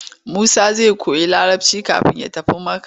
Musa zai koyi Larabci kafin ya tafi Makka.